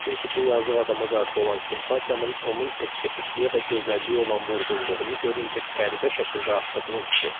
Çünki bu yazıq adama qarşı olan simpatiyamın onun estetikliyə və gözəlliyə olan vurğunluğunu görüncə qəribə şəkildə artdığını hiss etdim.